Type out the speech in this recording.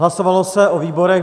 Hlasovalo se o výborech.